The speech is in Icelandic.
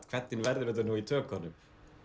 hvernig verður þetta í tökunum